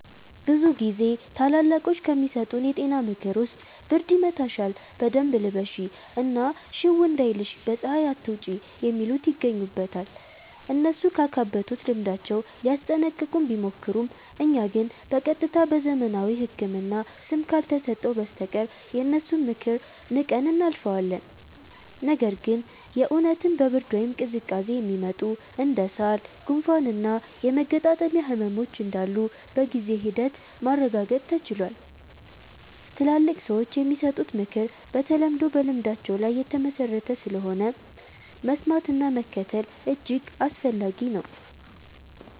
ብዙ ጊዜ ታላላቆች ከሚሰጡን የጤና ምክር ውስጥ ብርድ ይመታሻል በደንብ ልበሺ እና ሽው እንዳይልሽ በ ፀሃይ አትውጪ የሚሉት ይገኙበታል። እነሱ ካካበቱት ልምዳቸው ሊያስጠነቅቁን ቢሞክሩም እኛ ግን በ ቀጥታ በዘመናዊው ህክምና ስም ካልተሰጠው በስተቀር የነሱን ምክር ንቀን እናልፈዋለን። ነገር ግን የ እውነትም በ ብርድ ወይም ቅዝቃዜ የሚመጡ እንደ ሳል፣ ጉንፋን እና የመገጣጠሚያ ህመሞች እንዳሉ በጊዜ ሂደት ማረጋገጥ ተችሏል። ትላልቅ ሰዎች የሚሰጡት ምክር በተለምዶ በልምዳቸው ላይ የተመሠረተ ስለሆነ፣ መስማትና መከተል እጅግ አስፈላጊ ነው።